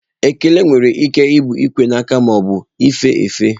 Ekele nwere ike ịbụ ikwe aka ma ọ bụ ife efe.